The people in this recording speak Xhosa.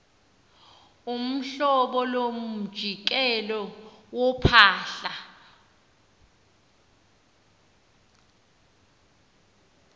uhlobo lomjikelo wophahla